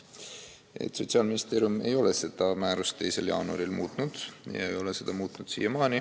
Sotsiaalministeerium ei ole seda määrust ei 2. jaanuaril ega hiljem muutnud.